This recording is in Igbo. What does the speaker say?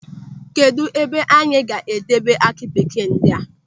Kedụ ebe anyị ga-edebe aki bekee ndị a?